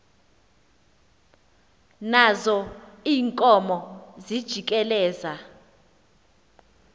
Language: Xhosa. nazo iinkomo zijikeleza